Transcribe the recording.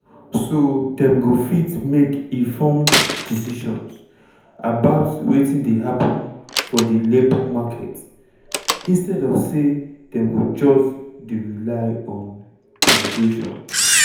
so dem go fit make informed decisions about wetin dey happun for di labour market instead of say dem go just dey rely on migration.